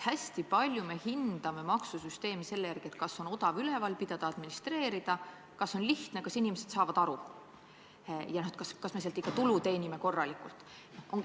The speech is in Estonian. Hästi palju me hindame maksusüsteemi selle järgi, kas see on odav üleval pidada, administreerida, kas see on lihtne, kas inimesed saavad sellest aru ja kas me selle abil ikka tulu teenime korralikult.